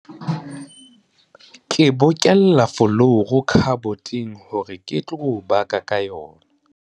Ke bolokela folouru khaboteng hore ke tlo baka ka yona.